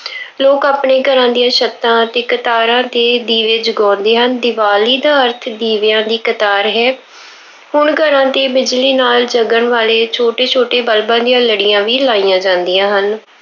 ਲੋਕ ਆਪਣੇ ਘਰਾਂ ਦੀਆਂ ਛੱਤਾਂ ਅਤੇ ਕਤਾਰਾਂ ਤੇ ਦੀਵੇ ਜਗਉਂਦੇ ਹਨ। ਦੀਵਾਲੀ ਦਾ ਅਰਥ ਦੀਵਿਆਂ ਦੀ ਕਤਾਰ ਹੈ। ਹੁਣ ਘਰਾਂ ਤੇ ਬਿਜਲੀ ਨਾਲ ਜਗਣ ਵਾਲੇ ਛੋੇਟੇ ਛੋਟੇ ਬਲਬਾਂ ਦੀਆਂ ਲੜੀਆਂ ਵੀ ਲਾਈਆਂ ਜਾਂਦੀਆਂ ਹਨ।